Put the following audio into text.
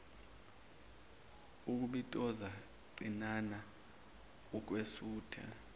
ukubitoza cinana wukwesutha